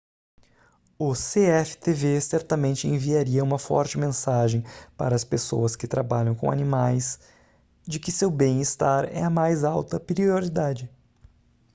o cftv certamente enviaria uma forte mensagem para as pessoas que trabalham com animais de que seu bem-estar é a mais alta prioridade